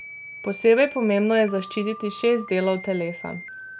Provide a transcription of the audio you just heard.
Posebej pomembno je zaščititi šest delov telesa.